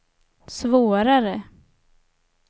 svårare